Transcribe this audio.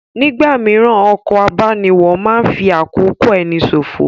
Nígbà mìíràn, ọkọ̀ abániwọ̀ máa ń fi àkókò ẹni ṣòfò